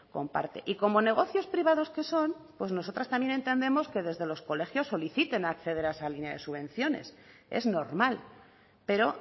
comparte y como negocios privados que son pues nosotras también entendemos que desde los colegios soliciten acceder a esa línea de subvenciones es normal pero